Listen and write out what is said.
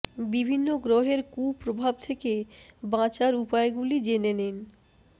বিভিন্ন গ্রহের কুপ্রভাব থেকে বাঁচার উপায় গুলি জেনে নিন